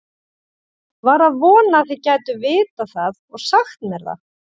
var að vona þið gætuð vitað það og sagt mér það